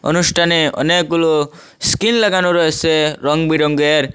অনুষ্ঠানে অনেকগুলো স্কিল লাগানো রয়েছে রংবিরঙের।